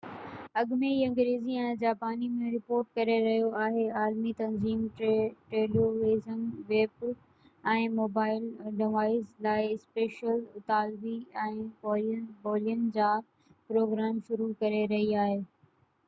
اڳ ۾ ئي انگريزي ۽ جاپاني ۾ رپورٽ ڪري رهيو آهي عالمي تنظيم ٽيليويزن ويب ۽ موبائل ڊوائيس لاءِ اسپينش اطالوي ۽ ڪورين ٻولين جا پروگرام شروع ڪري رهي آهي